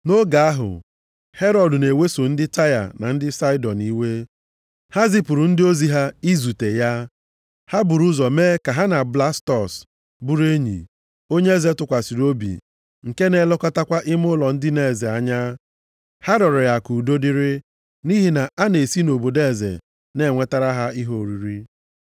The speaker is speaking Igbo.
Nʼoge ahụ Herọd na-eweso ndị Taịa na Saịdọn iwe, ha zipụrụ ndị ozi ha izute ya. Ha buru ụzọ mee ka ha na Blastọs bụrụ enyi, onye eze tụkwasịrị obi nke na-elekọtakwa ime ụlọ ndina eze anya. Ha rịọrọ ya ka udo dịrị, nʼihi na a na-esi nʼobodo eze na-enwetara ha ihe oriri.